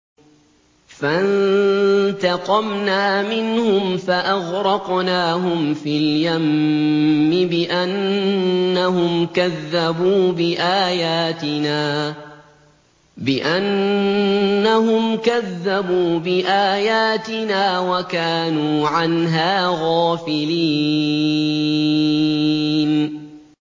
فَانتَقَمْنَا مِنْهُمْ فَأَغْرَقْنَاهُمْ فِي الْيَمِّ بِأَنَّهُمْ كَذَّبُوا بِآيَاتِنَا وَكَانُوا عَنْهَا غَافِلِينَ